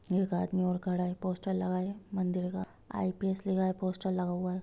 एक आदमी और खड़ा हुआ है| पोस्टर लगा हुआ है मंदिर का | आई_पी_एस लिखा पोस्टर लगा हुआ है ।